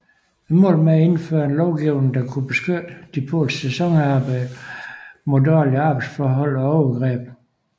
Målet var at indføre en lovgivning der kunne beskytte de polske sæsonarbejdere mod dårlige arbejdsforhold og overgreb